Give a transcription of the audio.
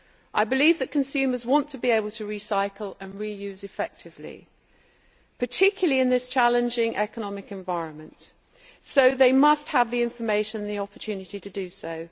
I believe that consumers want to be able to recycle and reuse effectively, particularly in this challenging economic environment, so they must have the information and the opportunity to do so.